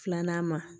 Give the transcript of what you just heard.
Filanan ma